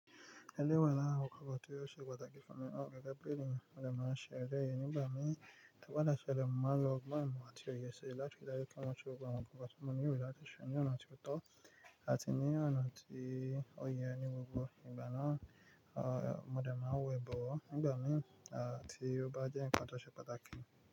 Ẹlẹ́yi wa lára nkan tó yóò ṣe pàtàkì fún mi, gẹ́gẹ́ bí ènìyàn, mo dẹ̀ máa ṣe eleyìí nígbà mí. To ba de sele mo man lo ogbon imo àti òye ṣi láti ri daju pe mo se gbogbo awon nkan ti mo nilo lati se ni ona toto ati ni ona to ye ni gbogbo ti ṣe ní ọ̀nà tí ó tọ́ àti ní ọ̀nà tí ó yẹ ni gbogbo igba mi mo de we nigba mi ti o ba je nkan to se pataki.